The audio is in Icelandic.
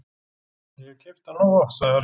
Ég hef keypt hann nógu oft, sagði Harry.